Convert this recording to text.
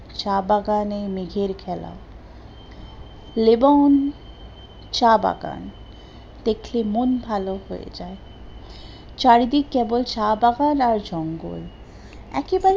চা বাগান এ মেঘ এর খেলা, লেবন চা বাগান দেখে মন ভালো হয়ে যায়, চারিদিক কেবল চা বাগান আর জঙ্গল একেবারে